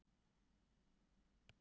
Eiðunn, læstu útidyrunum.